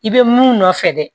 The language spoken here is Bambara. I bɛ mun nɔfɛ dɛ